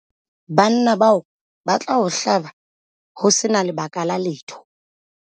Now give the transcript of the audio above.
banna bao ba tla o hlaba ho se na lebaka la letho